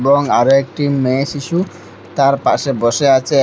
এবং আরো একটি মেয়ে শিশু তার পাশে বসে আচে।